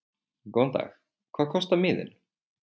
Góðan dag. Hvað kostar miðinn?